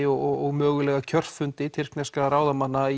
og mögulega kjörfundi tyrkneskra ráðamanna